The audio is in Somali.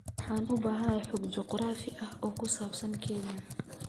Waxaan u baahanahay xog juqraafi ah oo ku saabsan Kenya